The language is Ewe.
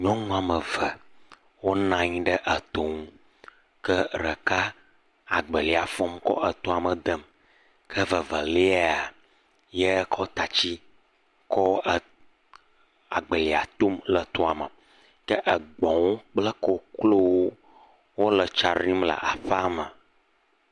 Nyɔnu woame eve wonɔ anyi ɖe eto nu. Ke ɖeka agbelia fɔm kɔ etoa me ɖem. Ye eveliae kɔ tatsi etom, kɔ le agbelia tom le etoa me. Ke egbɔ̃wo kple koklowo le kɔ ɖim le aƒea me.